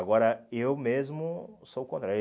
Agora, eu mesmo sou o contrário.